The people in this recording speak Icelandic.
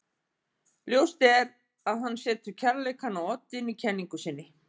Ljóst er að hann setur kærleikann á oddinn í kenningu sinni.